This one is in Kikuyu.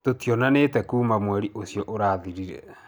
Tũtionanĩte kuuma mweri ũcio ũrathirire.